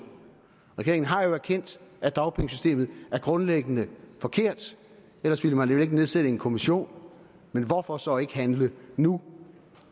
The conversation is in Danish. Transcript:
regeringen har jo erkendt at dagpengesystemet er grundlæggende forkert ellers ville man vel ikke nedsætte en kommission men hvorfor så ikke handle nu